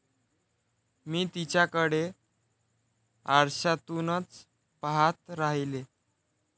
मी तिच्याकडे आरशातूनच पाहत राहिले.